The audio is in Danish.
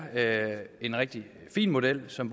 en rigtig fin model som